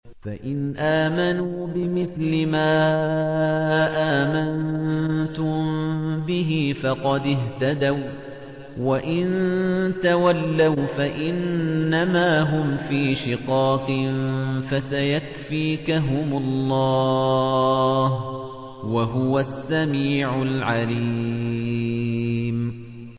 فَإِنْ آمَنُوا بِمِثْلِ مَا آمَنتُم بِهِ فَقَدِ اهْتَدَوا ۖ وَّإِن تَوَلَّوْا فَإِنَّمَا هُمْ فِي شِقَاقٍ ۖ فَسَيَكْفِيكَهُمُ اللَّهُ ۚ وَهُوَ السَّمِيعُ الْعَلِيمُ